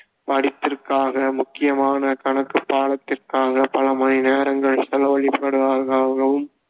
படிப்பிற்காக முக்கியமான கணக்குப் பாடத்திற்காக பல மணி நேரங்கள் செலவளிப்பவரா~ ஆகவும்